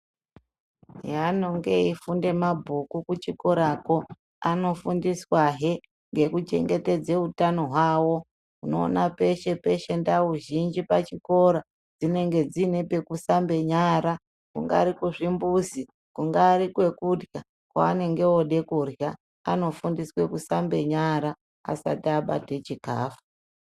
Heanonge eifunde mabhuku kuchikorapo anofundiswahe ngekuchengetedze utano hwawo unoona peshe peshe ndau zhinji pachikora dzinenge dzine pekusambe nyara kungati kuzvimbuzi kungari kwekurya paanenge ode kurya anofundiswe kusambe nyara asati abate chikafu.